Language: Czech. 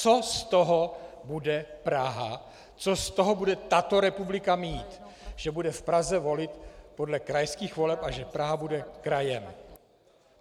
Co z toho bude Praha, co z toho bude tato republika mít, že bude v Praze volit podle krajských voleb a že Praha bude krajem?